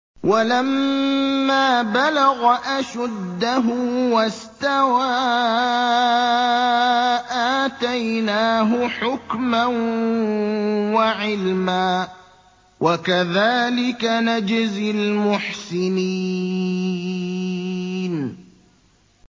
وَلَمَّا بَلَغَ أَشُدَّهُ وَاسْتَوَىٰ آتَيْنَاهُ حُكْمًا وَعِلْمًا ۚ وَكَذَٰلِكَ نَجْزِي الْمُحْسِنِينَ